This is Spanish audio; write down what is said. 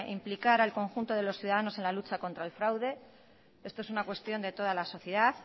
implicar al conjunto de los ciudadanos a la lucha contra el fraude esto es una cuestión de toda la sociedad